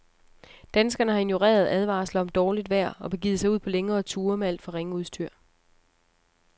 Danskerne har ignoreret advarsler om dårligt vejr og begivet sig ud på længere ture med alt for ringe udstyr.